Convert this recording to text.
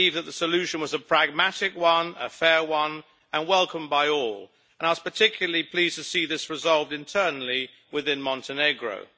I believe that the solution was a pragmatic one, a fair one, and welcomed by all, and I was particularly pleased to see this resolved internally within Montenegro.